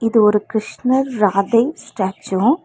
இது ஒரு கிருஷ்ணர் ராதை ஸ்டாச்சு .